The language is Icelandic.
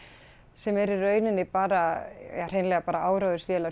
sem eru í rauninni bara ja hreinlega bara